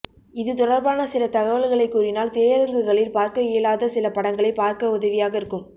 இது தொடர்பான சில தகவல்களை கூறினால் திரையரங்குகளில் பார்க்க இயலாத சில படங்களை பார்க்க உதவியாக இருக்கும்